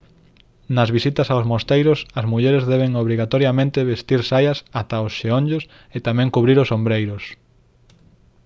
nas visitas aos mosteiros as mulleres deben obrigatoriamente vestir saias ata os xeonllos e tamén cubrir os ombreiros